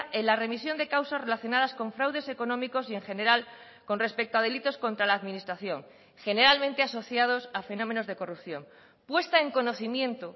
en la remisión de causas relacionadas con fraudes económicos y en general con respecto a delitos contra la administración generalmente asociados a fenómenos de corrupción puesta en conocimiento